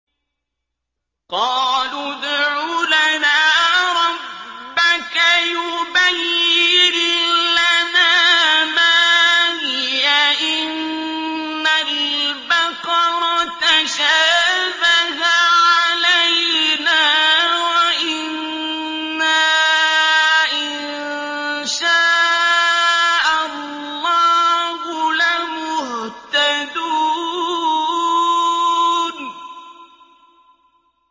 قَالُوا ادْعُ لَنَا رَبَّكَ يُبَيِّن لَّنَا مَا هِيَ إِنَّ الْبَقَرَ تَشَابَهَ عَلَيْنَا وَإِنَّا إِن شَاءَ اللَّهُ لَمُهْتَدُونَ